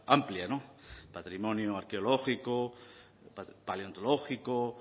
amplia no patrimonio arqueológico paleontológico